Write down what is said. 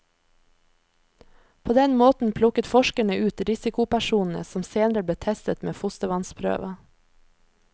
På den måten plukket forskerne ut risikopersonene, som senere ble testet med fostervannsprøve.